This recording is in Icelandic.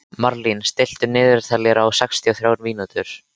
Marlín, stilltu niðurteljara á sextíu og þrjár mínútur.